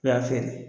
U y'a feere